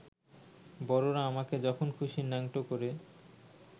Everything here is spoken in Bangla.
বড়রা আমাকে যখন খুশি ন্যাংটো করে